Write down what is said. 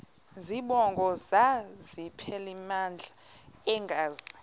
zibongo zazlphllmela engazi